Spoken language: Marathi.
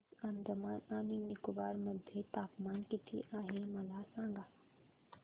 आज अंदमान आणि निकोबार मध्ये तापमान किती आहे मला सांगा